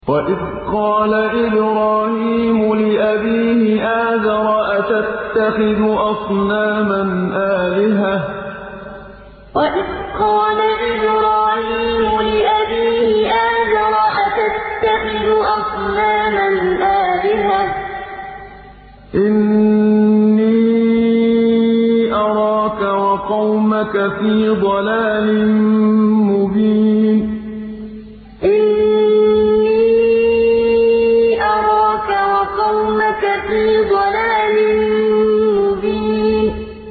۞ وَإِذْ قَالَ إِبْرَاهِيمُ لِأَبِيهِ آزَرَ أَتَتَّخِذُ أَصْنَامًا آلِهَةً ۖ إِنِّي أَرَاكَ وَقَوْمَكَ فِي ضَلَالٍ مُّبِينٍ ۞ وَإِذْ قَالَ إِبْرَاهِيمُ لِأَبِيهِ آزَرَ أَتَتَّخِذُ أَصْنَامًا آلِهَةً ۖ إِنِّي أَرَاكَ وَقَوْمَكَ فِي ضَلَالٍ مُّبِينٍ